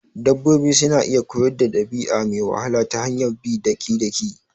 Dabbobi suna iya koyar dabi'a me wahala ta hanyar bi daki-daki